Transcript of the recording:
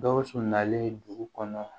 Gawusu nalen dugu kɔnɔ